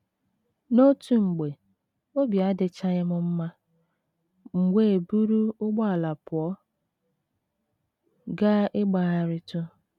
N’otu mgbe, obi adịchaghị m mma, m wee buru ụgbọala pụọ gaa ịgbagharịtụ.